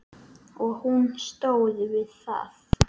Og hún stóð við það.